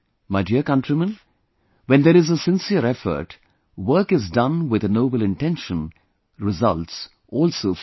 My dear countrymen, when there is a sincere effort, work is done with a noble intention, results also follow